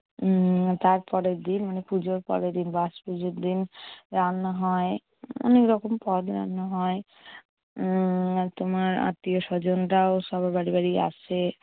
উম তার পরের দিন মানে পুজোর পরেরদিন, বাসপুজোর দিন রান্না হয়। অনেক রকম পদ রান্না হয়। উম তোমার আত্মীয়স্বজনরাও সবার বাড়ি বাড়ি আসে।